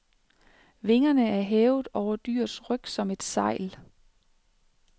Vingerne er hævet over dyrets ryg som et sejl.